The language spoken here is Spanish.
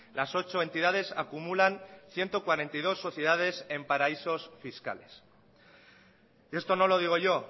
las ocho entidades acumulan ciento cuarenta y dos sociedades en paraísos fiscales esto no lo digo yo